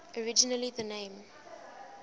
originally the name